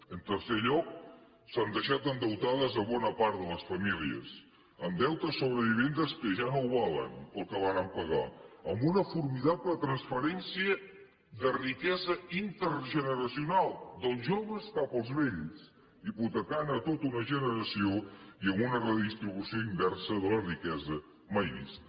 en tercer lloc s’han deixat endeutades bona part de les famílies amb deutes sobre vivendes que ja no valen el que varen pagar amb una formidable transferència de riquesa intergeneracional dels joves cap als vells hipotecant tota una generació i amb una redistribució inversa de la riquesa mai vista